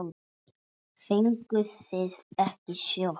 Fenguð þið ekki sjokk?